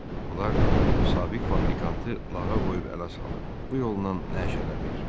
Onlar sabiq fabrikantı lağa qoyub ələ salır, bu yolla nəşələnir.